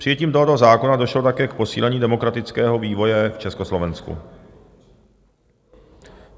Přijetím tohoto zákona došlo také k posílení demokratického vývoje v Československu.